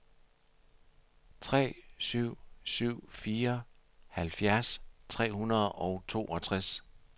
tre syv syv fire halvfjerds tre hundrede og toogtres